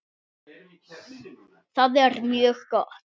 Það er mjög gott.